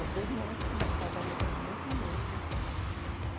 Não, dois moços, um casa, uma moça e um moço, uhum.